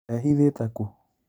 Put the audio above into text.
Ehithĩte kũ?